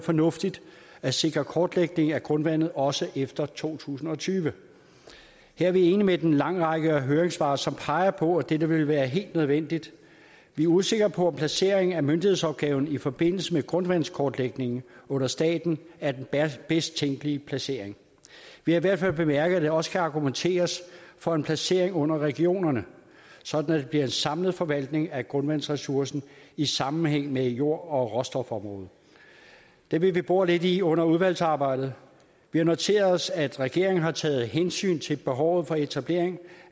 fornuftigt at sikre kortlægning af grundvandet også efter to tusind og tyve her er vi enige i en lang række høringssvar som peger på at dette vil være helt nødvendigt vi er usikre på om placering af myndighedsopgaven i forbindelse med grundvandskortlægningen under staten er den bedst tænkelige placering vi har i hvert fald bemærket at der også kan argumenteres for en placering under regionerne sådan at det bliver en samlet forvaltning af grundvandsressourcen i sammenhæng med jord og råstofområdet det vil vi bore lidt i under udvalgsarbejdet vi har noteret os at regeringen har taget hensyn til behovet for etablering